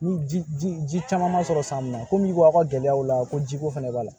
Ni ji ji caman ma sɔrɔ san min na komi ko aw ka gɛlɛyaw la ko ji ko fɛnɛ b'a la